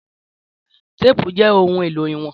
Téèpù jẹ́ ohun-èlò ìwọ̀n.